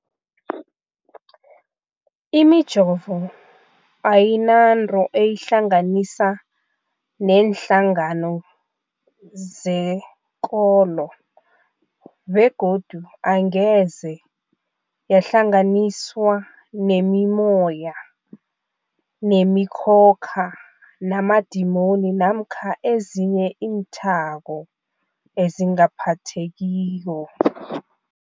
Imijovo ayinanto eyihlanganisa neenhlangano zekolo begodu angeze yahlanganiswa nemimoya, nemikhokha, namadimoni namkha ezinye iinthako ezingaphathekiko.